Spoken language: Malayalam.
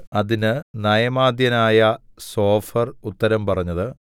അതിന് നയമാത്യനായ സോഫർ ഉത്തരം പറഞ്ഞത്